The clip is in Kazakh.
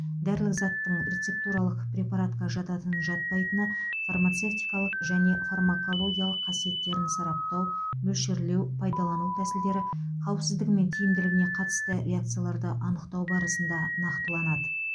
дәрілік заттың рецептуралық препаратқа жататын жатпайтыны фармацевтикалық және фармакологиялық қасиеттерін сараптау мөлшерлеу пайдалану тәсілдері қауіпсіздігі мен тиімділігіне қатысты реакцияларды анықтау барысында нақтыланады